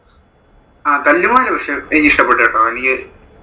അഹ് തല്ലുമാല പക്ഷെ എനിക്ക് ഇഷ്ടപ്പെട്ടു കേട്ടോ എനിക്ക്.